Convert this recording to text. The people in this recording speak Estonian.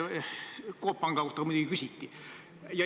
Coop Panga kohta muidugi küsiti.